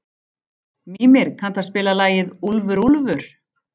Mímir, kanntu að spila lagið „Úlfur úlfur“?